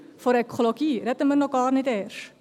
von der Ökologie sprechen wir gar nicht erst.